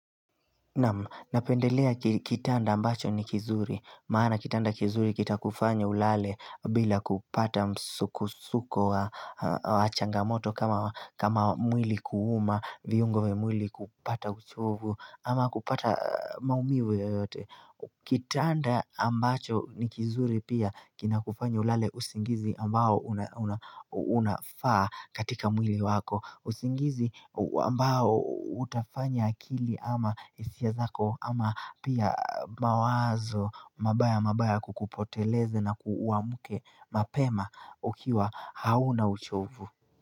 Napendelea kitanda ambacho ni kizuri, maana kitanda kizuri kita kufanya ulale bila kupata msukusuko wa changamoto kama mwili kuuma, viungo vya mwili kupata uchovu ama kupata maumivu yoyote. Kitanda ambacho ni kizuri pia kina kufanya ulale usingizi ambao unafaa katika mwili wako usingizi ambao utafanya akili ama hisia zako ama pia mawazo mabaya mabaya kukupoteleze na uamuke mapema ukiwa hauna uchovu.